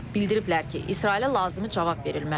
Bildiriblər ki, İsrailə lazımi cavab verilməlidir.